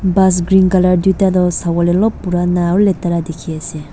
Bus green colour duida tuh savole olop purana aro letara dekhi ase.